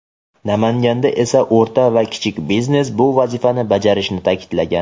Namanganda esa o‘rta va kichik biznes bu vazifani bajarishini ta’kidlagan.